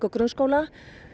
grunnskóla